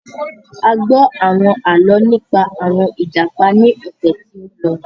A gbọ́ àwọn àlọ́ nípa àwọn Ìjàpá ní ọ̀sẹ̀ tí ó lọ.